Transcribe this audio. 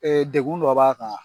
Degun dɔ b'a kan